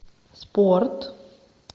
спорт